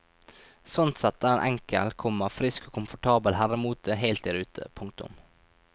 Sånn sett er en enkel, komma frisk og komfortabel herremote helt i rute. punktum